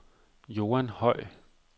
Joan Høj